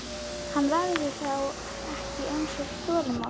Hann verður þá ekki eins óþolinmóður.